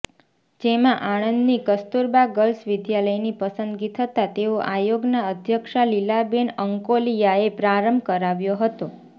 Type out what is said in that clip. જેમાં આણંદની કસ્તૂરબા ગર્લ્સ વિદ્યાલયની પસંદગી થતાં તેનો આયોગના અધ્યક્ષા લીલાબેન અંકોલિયાએ પ્રારંભ કરાવ્યો હતો